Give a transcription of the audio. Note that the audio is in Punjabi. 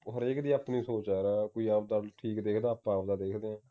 ਹਰ ਇੱਕ ਦੀ ਆਪਣੀ ਸੋਚ ਹੈ ਯਾਰ ਕੋਈ ਆਪਦਾ ਦਾਰੂ ਠੀਕ ਦੇਖਦਾ ਆਪਾਂ ਆਪ ਦਾ ਦੇਖਦੇ ਹਾਂ